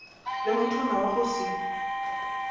le mothwana wa go se